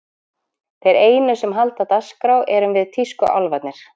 Þeir einu sem halda dagskrá erum við tískuálfarnir.